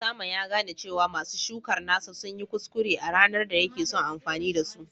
Osama ya gane cewa masu shukar nasa sun yi kuskure a ranar da yake son amfani da su